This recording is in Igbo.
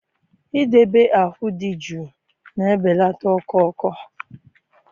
Idobe ahụ dị jụụ na-ebelata ọkụ ọkụ